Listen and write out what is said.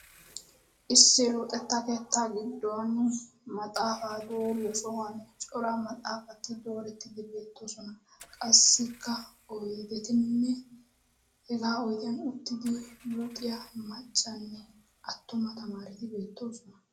Issi luxetta keetta giddon maxaaf a dooriyaa sohuwan cora maxaafati dooretidi beettoosona. qassikka oydetinne hega oydiyaa uttidi luxiya attumanne maccaa tamareti beettoosona.